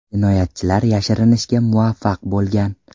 Jinoyatchilar yashirinishga muvaffaq bo‘lgan.